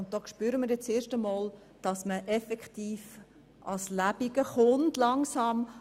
Hier spüren wir zum ersten Mal, dass es an die Substanz geht.